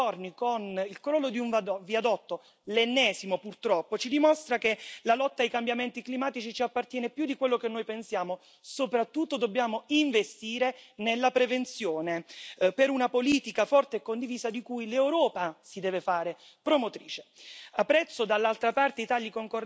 Quello che è avvenuto in Italia in questi giorni, con il crollo di un viadotto l'ennesimo purtroppo ci dimostra che la lotta ai cambiamenti climatici ci appartiene più di quello che noi pensiamo, e soprattutto che dobbiamo investire nella prevenzione, per una politica forte e condivisa di cui l'Europa si deve fare promotrice.